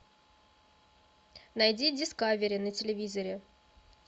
найди дискавери на телевизоре